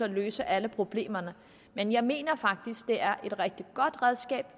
løse alle problemerne men jeg mener faktisk at det er et rigtig godt redskab